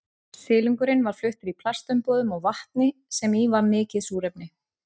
Silungurinn var fluttur í plastumbúðum og vatni sem í var mikið súrefni.